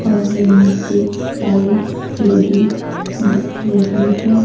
और नीचे टाइल्स लगी दिख रही है।